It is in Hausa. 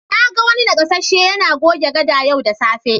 Na ga wani nakasasshe yana goge gada yau da safe.